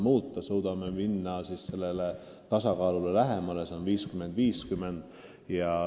Loodame jõuda lähemale tasakaalule ehk suhtele 50 : 50.